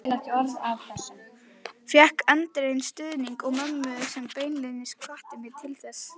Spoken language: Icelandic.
Fékk eindreginn stuðning mömmu sem beinlínis hvatti mig til þess.